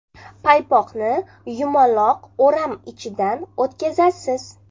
Paypoqni yumaloq o‘ram ichidan o‘tkazasiz.